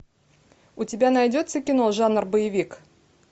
у тебя найдется кино жанр боевик